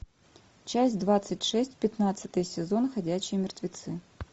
часть двадцать шесть пятнадцатый сезон ходячие мертвецы